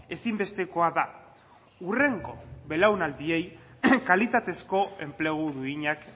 ezinbestekoa da hurrengo belaunaldiei kalitatezko enplegu duinak